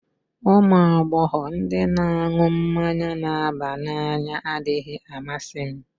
Ụmụ agbọghọ ndị na-aṅụ mmanya na-aba n'anya adịghị amasị m